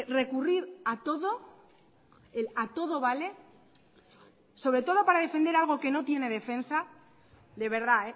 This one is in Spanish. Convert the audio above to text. recurrir a todo el a todo vale sobre todo para defender algo que no tiene defensa de verdad